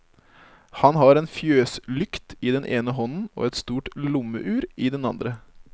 Han har en fjøslykt i den ene hånden og et stort lommeur i den andre.